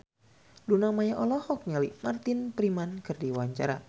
Luna Maya olohok ningali Martin Freeman keur diwawancara